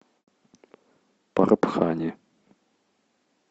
парбхани